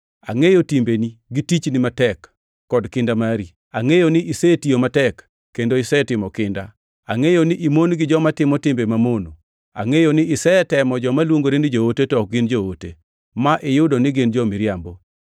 Angʼeyo timbeni gi tichni matek kod kinda mari. Angʼeyo ni isetiyo matek kendo isetimo kinda. Angʼeyo ni imon gi joma timo timbe mamono. Angʼeyo ni isetemo joma luongore ni joote, to ok gin joote, ma iyudo ni gin jo-miriambo.